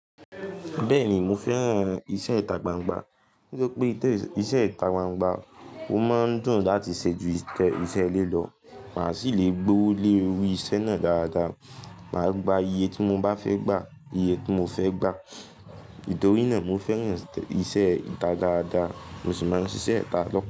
Bẹ́ẹ̀ni mo fẹ́ràn iṣẹ́ ìta gbangba nítorí pé iṣẹ́ ìta gbangba, o máa ń dùn láti ṣe ju iṣẹ́ ilé lọ. Màá sì lè gbowó lé ori iṣẹ́ náà dáadáa. Màá gba iye tí mo bá fẹ́ gba iye tí mo fẹ́ gba. Nítorí náà mo fẹ́ràn iṣẹ́ ìta dáadáa. Mo sì máa ń ṣiṣẹ́ ìta lọ́pọ̀